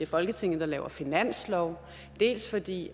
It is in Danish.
folketinget der laver finansloven dels fordi